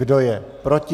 Kdo je proti?